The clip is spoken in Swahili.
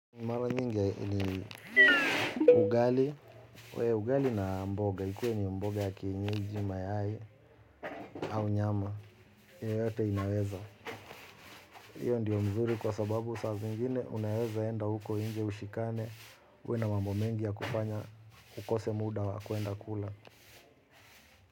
Mara nyingi ni ugali. Ugali na mboga. Ikue ni mboga ya kienyijima yai au nyama. Yoyote inaweza. Hiyo ndiyo mzuri kwa sababu saazi ngine unaweza enda huko nje ushikane. Uwe na mambo mengi ya kufanya ukose muda wa kwenda kula.